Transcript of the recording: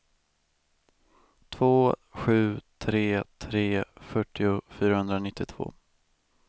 två sju tre tre fyrtio fyrahundranittiotvå